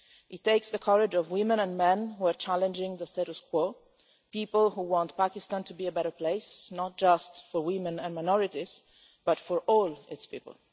It takes the courage of women and men who are challenging the status quo people who want Pakistan to be a better place, not just for women and minorities but for all its people.